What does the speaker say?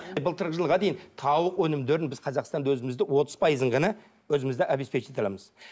былтырғы жылға дейін тауық өнімдерін біз қазақстанда өзімізді отыз пайызын ғана өзімізді обеспечить ете аламыз